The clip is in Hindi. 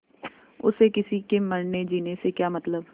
उसे किसी के मरनेजीने से क्या मतलब